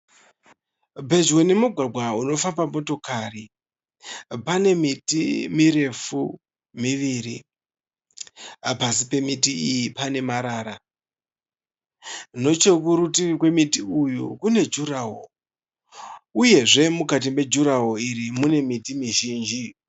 Pedyo nemugwagwa unofamba motokari pane miti mirefu miviri, pasi pemiti iyi pane marara, nochekunerutivi kwemiti uyu kune gurawall uyezve mukati megurawall iri mune miti mizhinji.